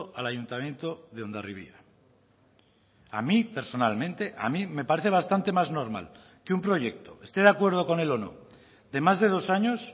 al ayuntamiento de hondarribia a mí personalmente a mí me parece bastante más normal que un proyecto esté de acuerdo con él o no de más de dos años